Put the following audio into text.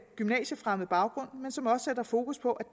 gymnasiefremmed baggrund men som også sætter fokus på